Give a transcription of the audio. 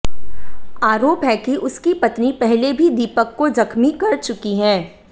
आरोप है कि उसकी पत्नी पहले भी दीपक को जख्मी कर चुकी है